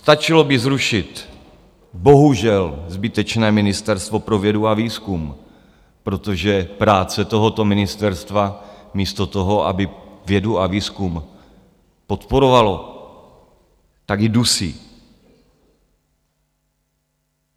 Stačilo by zrušit bohužel zbytečné Ministerstvo pro vědu a výzkum, protože práce tohoto ministerstva místo toho, aby vědu a výzkum podporovalo, tak ji dusí.